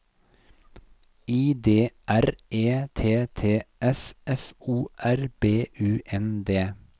I D R E T T S F O R B U N D